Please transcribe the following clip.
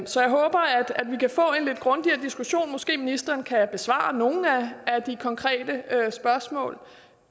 så jeg håber at vi kan få en lidt grundigere diskussion måske ministeren kan besvare nogle af de konkrete spørgsmål